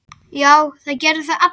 Já, það gerðu það allir.